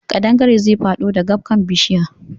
Ƙadangaren zai faɗo dagabkan bishiya